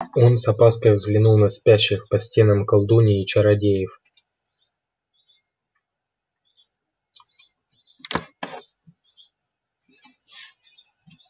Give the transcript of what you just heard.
он с опаской взглянул на спящих по стенам колдуний и чародеев